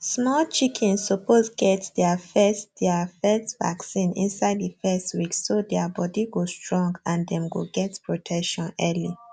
small chickens suppose get deir first deir first vaccine inside the first week so deir body go strong and dem go get protection early